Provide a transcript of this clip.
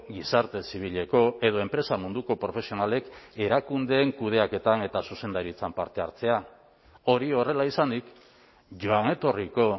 gizarte zibileko edo enpresa munduko profesionalek erakundeen kudeaketan eta zuzendaritzan parte hartzea hori horrela izanik joan etorriko